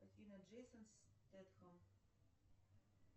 афина джейсон стэтхэм